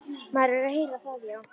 Maður er að heyra það, já.